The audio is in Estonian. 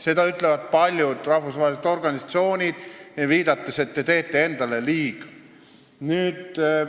Seda ütlevad paljud rahvusvahelised organisatsioonid, viidates sellele, et me teeme endale liiga.